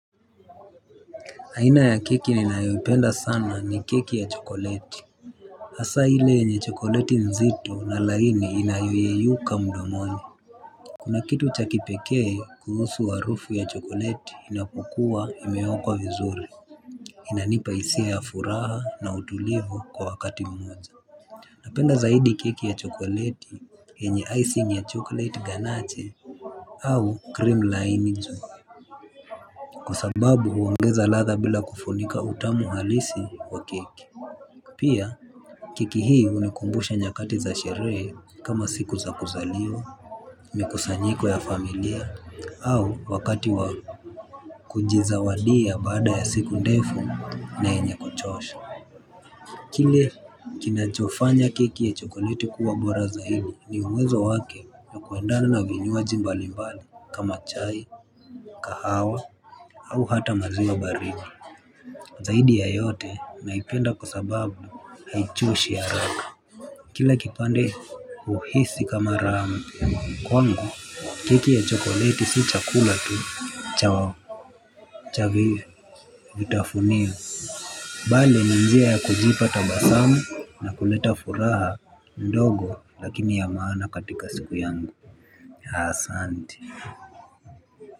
Haina ya keki ninayopenda sana ni keki ya chokoleti. Hasa hile yenye chokoleti nzito na laini inayoyeyuka mdomoni. Kuna kitu cha kipekee kuhusu harufu ya chokoleti inapokua imeokwa vizuri. Inanipa hisia ya furaha na utulivu kwa wakati mmoja. Napenda zaidi keki ya chokoleti yenye icing ya chokolete ganache. Au cream laini juu. Kwa sababu huongeza ladha bila kufunika utamu halisi wa keki. Pia, keki hii unikumbusha nyakati za sherehe kama siku za kuzaliwa mikusanyiko ya familia au wakati wa kunjizawadia baada ya siku ndefu na yenye kuchosha. Kile kinachofanya keki ya chokoleti kuwa bora zaidi ni uwezo wake na kuendana na vinywaji mbalimbali kama chai kahawa au hata maziwa baridi. Zaidi ya yote, naipenda kwa sababu, haichoshi haraka. Kila kipande uhisi kama raha. Kwangu keki ya chokoleti si chakula tu Chawo Chavive vitafunio bali ni njia ya kujipa tabasamu na kuleta furaha ndogo lakini ya maana katika siku yangu. Asante.